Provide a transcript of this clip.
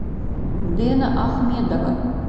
дэна ахмедова